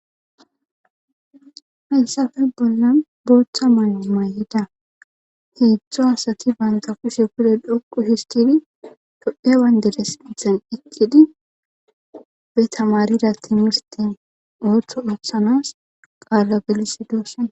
hayssafe bolla booththa mayo mayida heedzdzo asati banta kushe kude dhokqu histidi tophiya dere sithen eqqidi be tamarida timisteson ooththo ooththanas qaalla gelisshe doosona